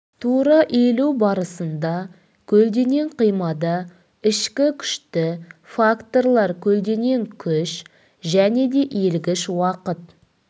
тура иілу барысында көлденең қимада ішкі күшті факторлар көлденең күш және де иілгіш уақыт